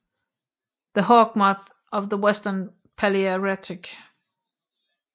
The hawkmoths of the western Palaearctic